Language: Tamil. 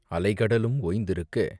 அலை கடலும் ஓய்ந்திருக்க..